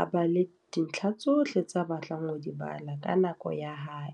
a bale dintlha tsohle tse a batlang ho di bala. Ka nako ya hae.